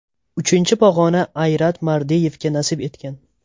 Uchinchi pog‘ona Ayrat Mardeyevga nasib etgan.